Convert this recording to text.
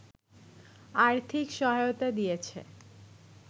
আর্থিক সহায়তা দিয়েছে